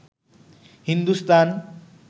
Hindustan